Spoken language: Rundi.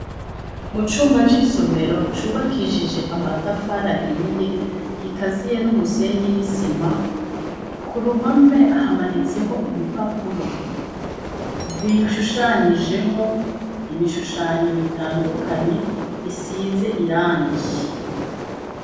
Mucumba c'isomero cubakishije amatafari ahiye kikaziye n'umusenyi n'isima kuruhame hamanitseho ibipapuro bishushanijeho ibishushanyo bitandukanye bisize irangi.